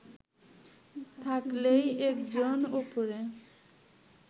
থাকলেই একজন ওপরে